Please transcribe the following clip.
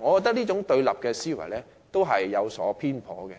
我覺得這種對立思維有所偏頗，